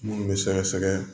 Munnu be sɛgɛsɛgɛ